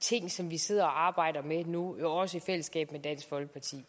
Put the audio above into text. ting som vi sidder og arbejder med nu også i fællesskab med dansk folkeparti